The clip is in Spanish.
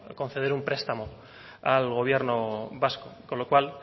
conceder un prestamo al gobierno vasco con lo cual